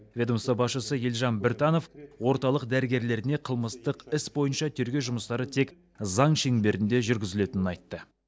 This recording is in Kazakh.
ведомство басшысы елжан біртанов орталық дәрігерлеріне қылмыстық іс бойынша тергеу жұмыстары тек заң шеңберінде жүргізілетінін айтты